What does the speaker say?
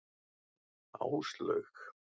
Áslaug